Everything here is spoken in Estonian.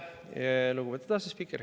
Aitäh, lugupeetud asespiiker!